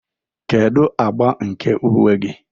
Kedu agba nke uwe gị?